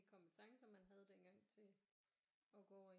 Kompetencer man havde dengang til at gå over i